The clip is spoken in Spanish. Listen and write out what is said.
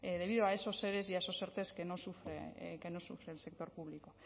debido a eso ere y a esos erte que no sufre el sector público